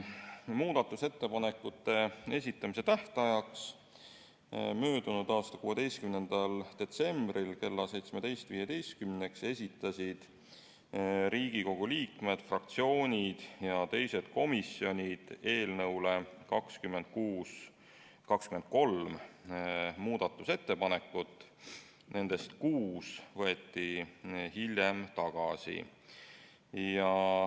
Muudatusettepanekute esitamise tähtajaks, möödunud aasta 16. detsembriks kella 17.15-ks esitasid Riigikogu liikmed, fraktsioonid ja komisjonid eelnõu kohta 23 muudatusettepanekut, nendest kuus võeti hiljem tagasi.